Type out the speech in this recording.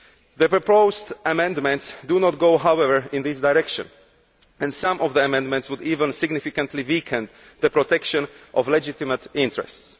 The proposed amendments do not go, however, in this direction and some of the amendments would even significantly weaken the protection of legitimate interests.